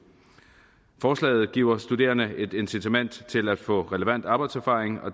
forslaget giver studerende et incitament til at få relevant arbejdserfaring